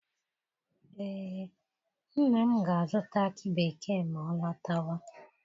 Ee, nna m ga-azụta akị bekee ma ọ lọtawa.